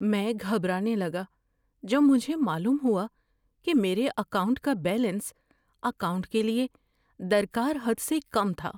میں گھبرانے لگا جب مجھے معلوم ہوا کہ میرے اکاؤنٹ کا بیلنس اکاؤنٹ کے لیے درکار حد سے کم تھا۔